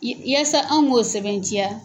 yaasa an k'o sɛbɛntiya